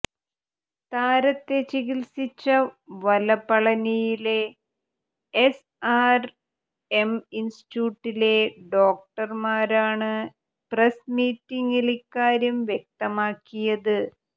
താരത്തെ ചികിത്സിച്ച വലപളനിയിലെ എസ് ആര് എം ഇന്സ്റ്റിറ്റ്യൂട്ടിലെ ഡോക്ടര്മാരാണ് പ്രസ് മീറ്റില് ഇക്കാര്യം വ്യക്തമാക്കിയത്